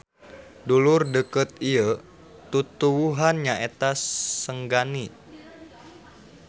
Dulur deukeut ieu tutuwuhan nyaeta senggani.